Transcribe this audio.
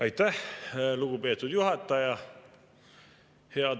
Aitäh, lugupeetud juhataja!